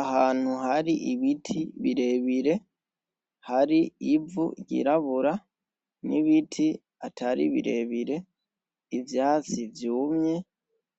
Ahantu hari ibiti birebire hari ivu ryirabura n'ibiti atari birebire ivyatsi vyumye